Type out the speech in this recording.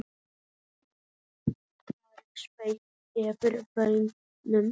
Djúp virðing svífur yfir vötnum.